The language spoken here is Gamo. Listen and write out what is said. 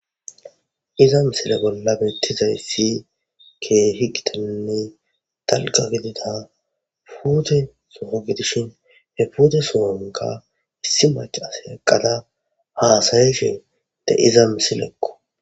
Iza misile betizaysa mala gidikko haysi kehhi dalga gidida putte soho gidishin he putte sohonka issi macashiya eqada hasayashe de'iza misileko